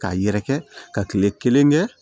K'a yɛrɛkɛ ka kile kelen kɛ